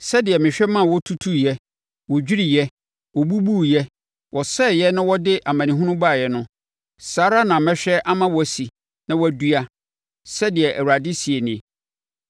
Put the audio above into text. Sɛdeɛ mehwɛ ma wɔtutuiɛ, wɔdwiriiɛ, wɔbubuiɛ, wɔsɛeɛ na wɔde amanehunu baeɛ no, saa ara na mɛhwɛ ama wɔasi na wɔadua,” sɛdeɛ Awurade seɛ nie.